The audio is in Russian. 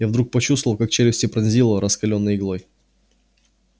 я вдруг почувствовал как челюсти пронзило раскалённой иглой